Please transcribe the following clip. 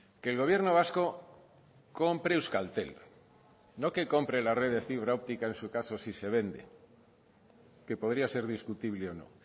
que el gobierno vasco compre euskaltel no que compre la red de fibra óptica en su caso si se vende que podría ser discutible o no